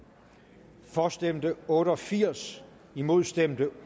for stemte otte og firs imod stemte